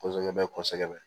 Kɔsɛbɛ kɔsɛbɛ